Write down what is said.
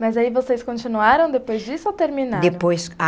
Mas aí vocês continuaram depois disso ou terminaram? Depois a